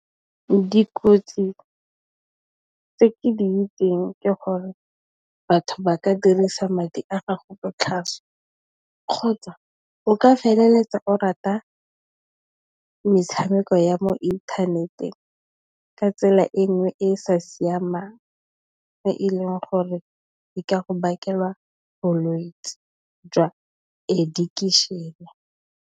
Dikotsi tse ke di itseng ke gore batho ba ka dirisa madi a gago botlhaswa kgotsa o ka feleletsa o rata metshameko ya mo inthaneteng ka tsela e nngwe e e sa siamang e e leng gore e ka go bakela bolwetsi jwa addiction.